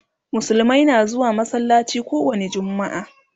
musulmai na zuwa masallaci kowani jumma'a